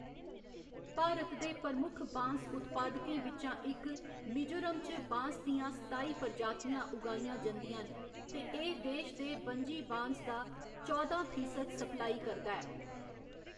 भारत दे प्रमुख बांस उत्पादकें बिच्चा इक, मिजोरम च बांस दियां सताई प्रजातियां उगाइयां जंदियां न ते एह्‌‌ देश दे बनजी बांस दा चौदां फीसद सप्लाई करदा ऐ।